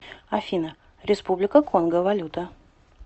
афина республика конго валюта